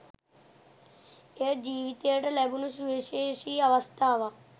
එය ජීවිතයට ලැබුණු සුවිශේෂී අවස්ථාවක්